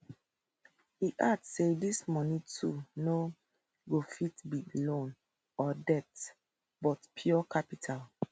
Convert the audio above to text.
e add say dis moni too no go fit be loan or debts but pure capital